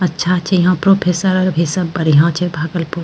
अच्छा छे यहां प्रोफेसर अर भी सब बढ़िया छे भागलपुर --